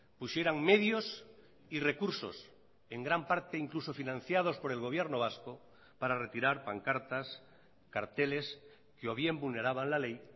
pusieran medios y recursos en gran parte incluso financiados por el gobierno vasco para retirar pancartas carteles que o bien vulneraban la ley